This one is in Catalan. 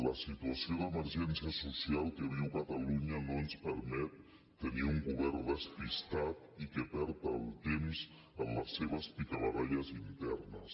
la situació d’emergència social que viu catalunya no ens permet tenir un govern despistat i que perd el temps en les seves picabaralles internes